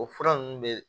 O fura nunnu bɛ